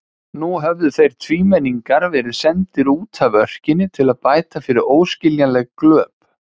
Nú höfðu þeir tvímenningar verið sendir útaf örkinni til að bæta fyrir óskiljanleg glöp.